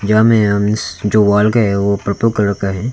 जो वाल का है ओ पर्पल कलर का है।